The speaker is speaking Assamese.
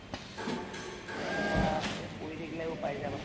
ভালকে পঢ়া, এই পঢ়ি থাকিলেও পাই যাবা